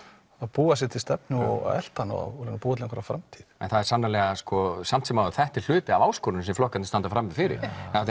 búa sér til stefnu og elta hana og reyna að búa til einhverja framtíð en samt sem áður er þetta hluti af áskoruninni sem flokkarnir standa frammi fyrir